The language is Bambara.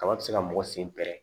Kaba ti se ka mɔgɔ sen pɛrɛ